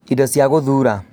Indo cia gũthuura